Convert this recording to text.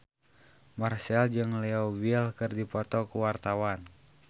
Marchell jeung Leo Bill keur dipoto ku wartawan